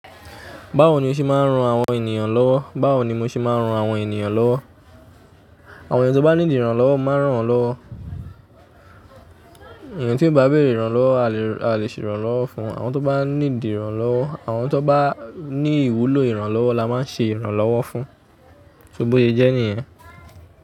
Báwo ni o ṣe máa ń ran àwọn ènìyàn lọ́wọ́? Báwo ni mo ṣe máa ń ran àwọn ènìyàn lọ́wọ́? Àwọn èeyàn tó bá need iranlọ́wọ́, mo máa ń ràn won lọ́wọ́. Èeyàn tí ò bá bẹ̀rẹ̀ ìranlọ́wọ́, a lè ran a le ṣe ìranlọ́wọ́ fún won. Àwọn tó bá need i ìranlọ́wọ́, àwọn tó n bá ní ìwúlò ìranlọ́wọ́ la máa ń ṣe ìranlọ́wọ́ fún. So bóye jẹ́ níyẹn?